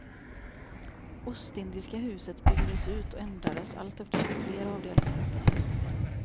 Ostindiska huset byggdes ut och ändrades allteftersom fler avdelningar öppnades.